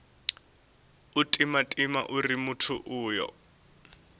u timatima uri muthu uyo